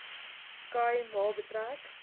khai ma betrek